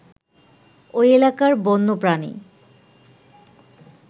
ঐ এলাকার বন্যপ্রাণী